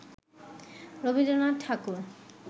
Rabindranath Thakur